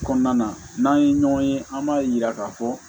Kɔnɔna na n'an ye ɲɔgɔn ye an b'a yira k'a fɔ